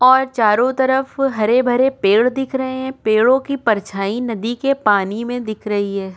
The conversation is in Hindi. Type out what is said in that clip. और चारों तरफ हरे भरे पेड़ दिख रहे हैं पेड़ों की परछाई नदी के पानी में दिख रही है।